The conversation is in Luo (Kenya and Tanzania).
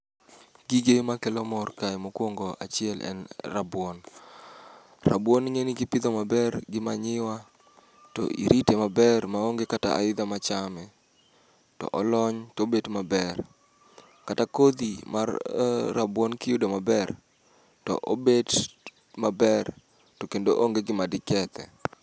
Gige ma kelo mor kae mokwongo achiel en rabuon. Rabuon ing'e ni kipidho maber gi manyiwa, to irite maber ma onge kata aidha ma chame, to olony tobet maber. Kata kodhi mar rabuon kiyudo maber, to obet maber to kendo onge gima di kethe.